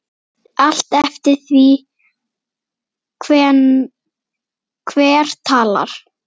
Allt eftir því hver talar.